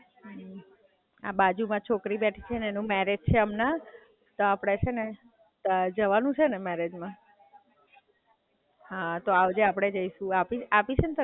આ બાજુમાં છોકરી બેઠી છે ને એનું મેરેજ છે હમણાં તો આપડે છે ને જવાનું છે ને મેરેજ માં?